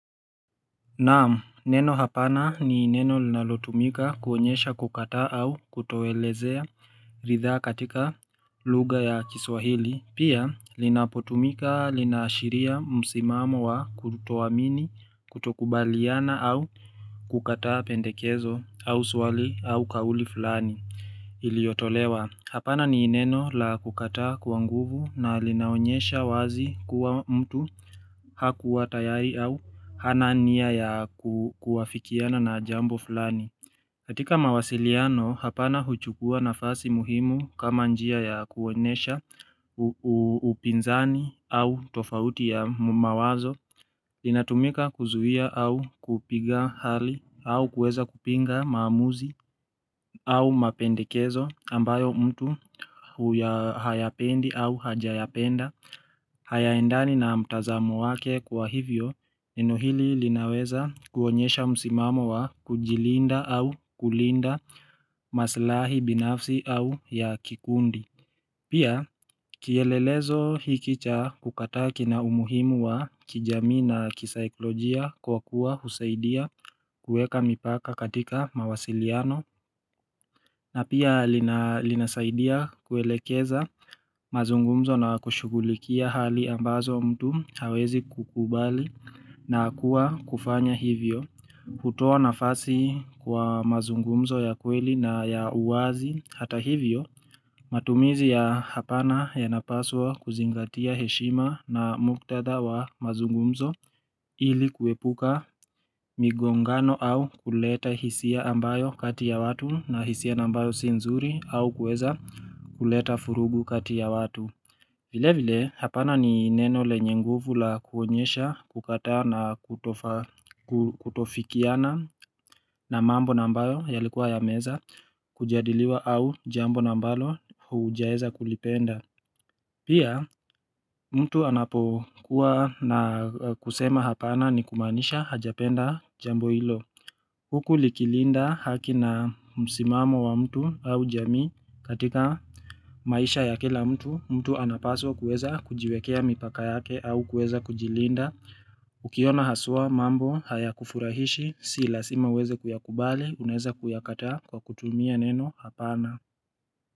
Naamu, neno hapana ni neno linalotumika kuonyesha kukata au kutowelezea ritha katika lugha ya kiswahili. Pia, linapotumika linaashiria msimamo wa kutoamini kutokubaliana au kukataa pendekezo au swali au kauli fulani iliotolewa. Hapana ni neno la kukataa kwa nguvu na linaonyesha wazi kuwa mtu hakuwa tayari au hana nia ya kuwafikiana na jambo fulani. Katika mawasiliano, hapana huchukua nafasi muhimu kama njia ya kuonesha upinzani au tofauti ya mawazo. Inatumika kuzuhia au kupiga hali au kueza kupinga maamuzi au mapendekezo ambayo mtu huya hayapendi au hajayapenda. Hayaendani na mtazamo wake kwa hivyo neno hili linaweza kuonyesha msimamo wa kujilinda au kulinda maslahi binafsi au ya kikundi. Pia kielelezo hiki cha kukataa kina umuhimu wa kijamii na kisaiklojia kwa kuwa husaidia kueka mipaka katika mawasiliano na pia linasaidia kuelekeza mazungumzo na kushugulikia hali ambazo mtu hawezi kukubali na kuwa kufanya hivyo. Kutoa nafasi kwa mazungumzo ya kweli na ya uwazi hata hivyo matumizi ya hapana yanapaswa kuzingatia heshima na muktadha wa mazungumzo ili kuepuka migongano au kuleta hisia ambayo kati ya watu na hisia ambayo si nzuri au kuweza kuleta furugu kati ya watu vile vile hapana ni neno lenye nguvu la kuonyesha kukataa na kutofikiana na mambo na ambayo yalikuwa ya meweza kujadiliwa au jambo na ambalo huujaeza kulipenda Pia mtu anapokuwa na kusema hapana ni kumaanisha hajapenda jambo hilo Huku likilinda haki na msimamo wa mtu au jamii katika maisha ya kila mtu, mtu anapaswa kueza kujiwekea mipaka yake au kuweza kujilinda. Ukiona haswa mambo hayakufurahishi, si lasima uweze kuyakubali, unaeza kuyakataa kwa kutumia neno hapana.